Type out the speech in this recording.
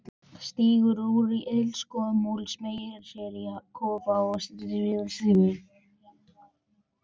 Stígur upp úr ilskónum og smeygir sér í klofhá vaðstígvél.